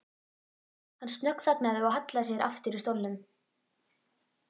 Hann snöggþagnaði og hallaði sér aftur í stólnum.